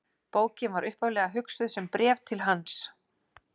Bókin var upphaflega hugsuð sem bréf til hans.